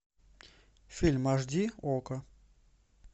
фильм аш ди окко